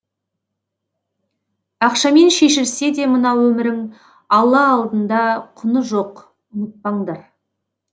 ақшамен шешілсе де мына өмірің алла алдында құны жоқ ұмытпаңдар